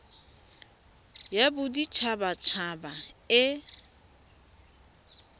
ya bodit habat haba e